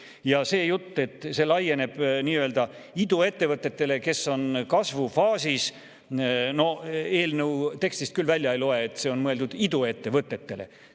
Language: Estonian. Ja see jutt, et see laieneb nii-öelda iduettevõtetele, kes on kasvufaasis – eelnõu tekstist küll välja ei loe, et see on mõeldud iduettevõtetele.